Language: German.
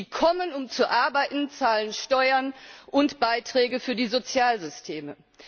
Sie kommen, um zu arbeiten, zahlen Steuern und Beiträge für die Sozialsysteme.